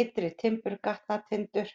Ytri-Timburgatnatindur